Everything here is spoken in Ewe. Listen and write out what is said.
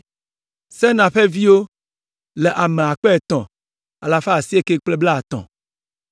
Senaa ƒe viwo le ame akpe etɔ̃ alafa asieke kple blaetɔ̃ (3,930).